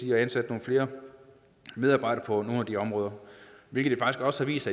at ansætte nogle flere medarbejdere på nogle af de områder hvilket også har vist